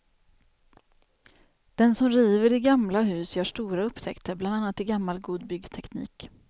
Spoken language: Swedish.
Den som river i gamla hus gör stora upptäckter, bland annat i gammal god byggteknik.